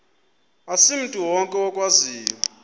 asimntu wonke okwaziyo